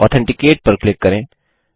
authenticate पर click करें